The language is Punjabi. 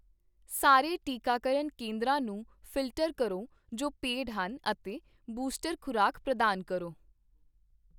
ਸਾਰੇ ਟੀਕਾਕਰਨ ਕੇਂਦਰਾਂ ਨੂੰ ਫਿਲਟਰ ਕਰੋ ਜੋ ਪੇਡ ਹਨ ਅਤੇ ਬੂਸਟਰ ਖ਼ੁਰਾਕ ਪ੍ਰਦਾਨ ਕਰੋ